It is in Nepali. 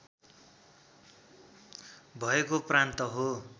भएको प्रान्त हो